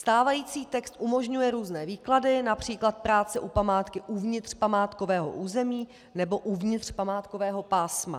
Stávající text umožňuje různé výklady, například práce u památky uvnitř památkového území nebo uvnitř památkového pásma.